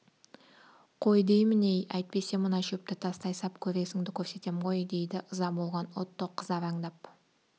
қой деймін-ей әйтпесе мына шөпті тастай сап көресіңді көрсетем ғой дейді ыза болған отто қызараңдап